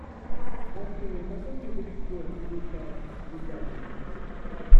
афина какой язык в школе изучал ведяхин